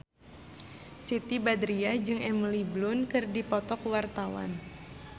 Siti Badriah jeung Emily Blunt keur dipoto ku wartawan